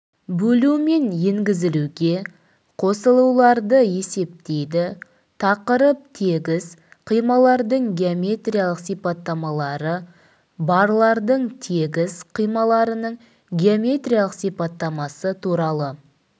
бөлу мен езілуге қосылуларды есептейді тақырып тегіс қималардың геометриялық сипаттамалары барлардың тегіс қималарының геометриялық сипаттамасы туралы